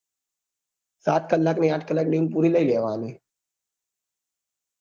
સાત કલાક ની આંઠ કલાક ની ઉંગ પૂરી લઇ લેવા ની